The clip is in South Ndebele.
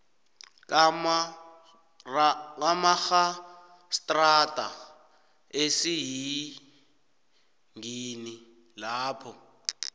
kamarhastrada esiyingini lapho